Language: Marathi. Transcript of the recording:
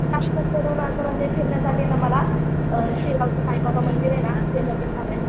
मस्त फिरण्यासाठी ना मला अ साईबाबा मंदिर आहे ना ते झालंय.